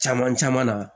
Caman caman na